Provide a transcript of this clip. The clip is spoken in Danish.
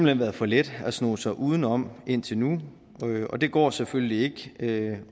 hen været for let at sno sig udenom indtil nu og det går selvfølgelig ikke